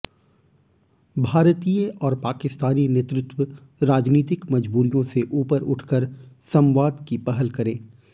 भारतीय और पाकिस्तानी नेतृत्व राजनीतिक मजबूरियों से ऊपर उठकर संवाद की पहल करें